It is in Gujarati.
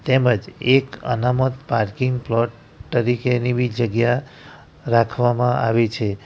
તેમજ એક અનામત પાર્કિંગ પ્લોટ તરીકે ની બી જગ્યા રાખવામાં આવી છે.